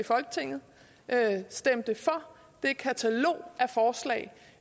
i folketinget stemte for det katalog